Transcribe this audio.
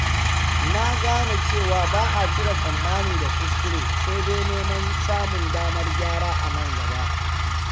Nagane cewa ba'a cire tsammani da kuskure, sai dai neman samun damar gyara anan gaba.